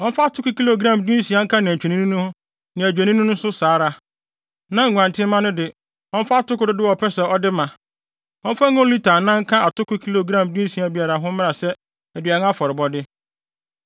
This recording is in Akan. Ɔmfa atoko kilogram dunsia nka nantwinini no ho ne adwennini no nso saa ara, na nguantenmma no de, ɔmfa atoko dodow a ɔpɛ sɛ ɔde ma. Ɔmfa ngo lita anan nka atoko kilogram dunsia biara ho mmra sɛ aduan afɔrebɔde.